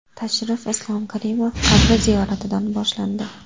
Tashrif Islom Karimov qabri ziyoratidan boshlandi.